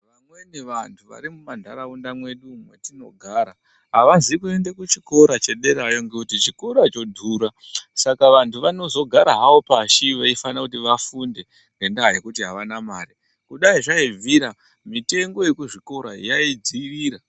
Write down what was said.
Vamweni vantu vari mumantaraunda mwedu mwetinogara avazi kuende kuchikora chederayo ngekuti chikora chodhura Saka vantu vanozogara havo pashi veifana kuti vafunde ngendaa yekuti avana mare. Kudai zvaibvira mitengo yekuzvikora yaidzivira.